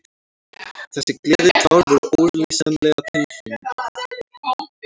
Þessi gleðitár voru ólýsanleg tilfinning.